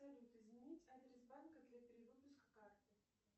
салют изменить адрес банка для перевыпуска карты